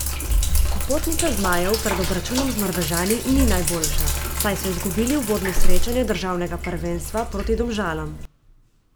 Popotnica zmajev pred obračunom z Norvežani ni najboljša, saj so izgubili uvodno srečanje državnega prvenstva proti Domžalam.